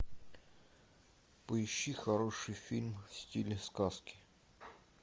поищи хороший фильм в стиле сказки